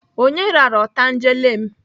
Onye rara otangele m?